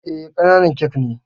Eh, ƙananan kek ne